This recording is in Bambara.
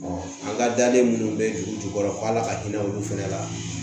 a ka daden minnu bɛ dugu jukɔrɔ k'ala ka hinɛ olu fana la